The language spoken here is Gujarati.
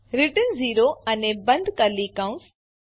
રિટર્ન 0 અને બંધ કર્લી કૌંસ